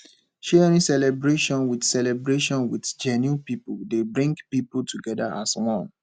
sharing celebration with celebration with genuine pipo dey bring pipo together as one